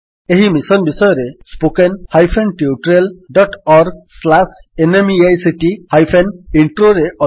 ଏହି ମିଶନ୍ ବିଷୟରେ spoken hyphen tutorial dot org slash NMEICT hyphen ଇଣ୍ଟ୍ରୋରେ ଅଧିକ ବିବରଣୀ ଉପଲବ୍ଧ ଅଛି